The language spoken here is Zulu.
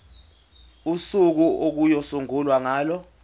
usuku okuyosungulwa ngalo